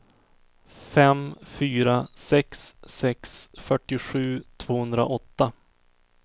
fem fyra sex sex fyrtiosju tvåhundraåtta